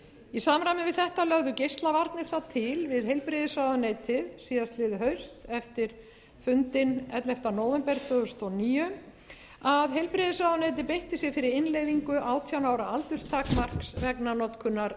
í samræmi við þetta lögðu geislavarnir til við heilbrigðisráðuneytið síðastliðið haust eftir fundinn ellefta nóvember tvö þúsund og níu að heilbrigðisráðuneytið beitti sér fyrir innleiðingu átján ára aldurstakmarks vegna notkunar